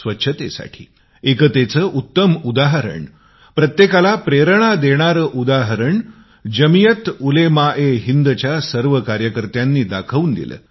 स्वच्छतेसाठी एकतेचे उत्तम उदाहरण प्रत्येकाला प्रेरणा देणारे उदाहरण जमियात उलेमाएहिंदच्या सर्व कार्यकर्त्यांनी दिला